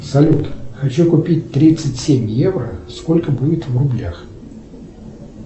салют хочу купить тридцать семь евро сколько будет в рублях